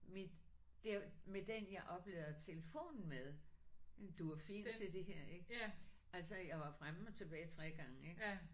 Mit der med den jeg oplader telefonen med den duer fint til det her ik. Altså jeg var fremme og tilbage 3 gange ik